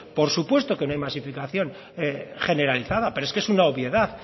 por supuesto que no hay masificación generalizada pero es que es una obviedad